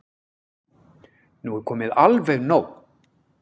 Nú er komið alveg nóg!